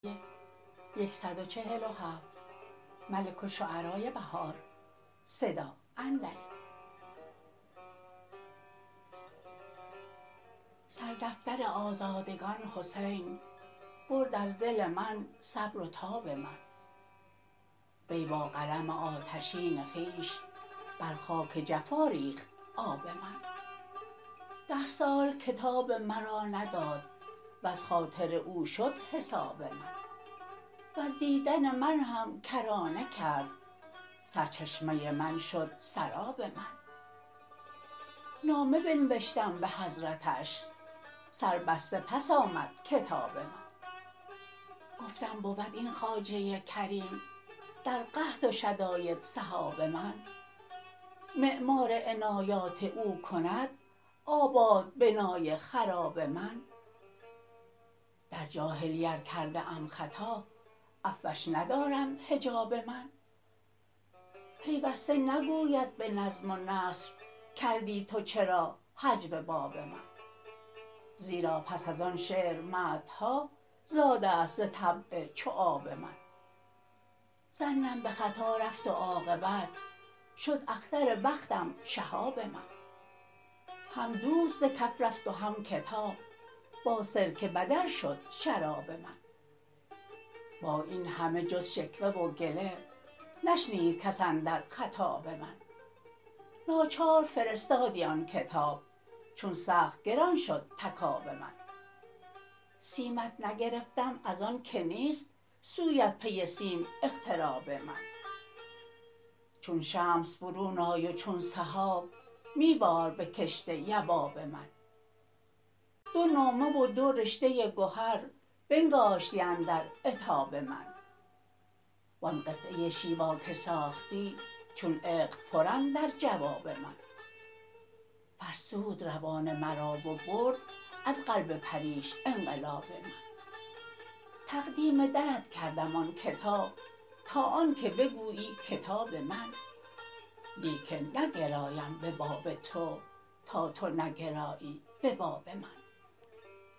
سر دفتر آزادگان حسین برد از دل من صبر و تاب من وی با قلم آتشین خویش بر خاک جفا ریخت آب من ده سال کتاب مرا نداد وز خاطر او شد حساب من وز دیدن من هم کرانه کرد سرچشمه من شد سراب من نامه بنوشتم به حضرتش سربسته پس آمدکتاب من گفتم بود این خواجه کریم در قحط و شداید سحاب من معمار عنایات او کند آباد بنای خراب من در جاهلی ار کرده ام خطا عفوش ندراند حجاب من پیوسته نگوید به نظم و نثر کردی تو چرا هجو باب من زیرا پس از آن شعر مدح ها زاده است ز طبع چو آب من ظنم به خطا رفت و عاقبت شد اختر بختم شهاب من هم دوست زکف رفت و هم کتاب با سرکه بدل شد شراب من با این همه جز شکوه وگله نشنید کس اندر خطاب من ناچار فرستادی آن کتاب چون سخت گران شد تکاب من سیمت نگرفتم از آن که نیست سویت پی سیم اقتراب من چون شمس برون آی و چون سحاب میبار به کشت یباب من دو نامه و دو رشته گهر بنگاشتی اندر عتاب من وان قطعه شیوا که ساختی چون عقد پرن در جواب من فرسود روان مرا و برد از قلب پریش انقلاب من تقدیم درت کردم آن کتاب تا آن که بگویی کتاب من لیکن نگرایم به باب تو تا تو نگرایی به باب من